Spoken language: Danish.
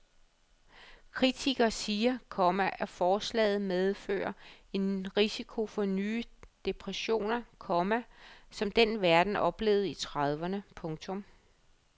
Kritikere siger, komma at forslaget medfører en risiko for nye depressioner, komma som den verden oplevede i trediveerne. punktum